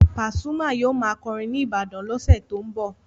Pasuma yóò máa kọrin ní Ibadan lọ́sẹ̀ tó ń bọ̀.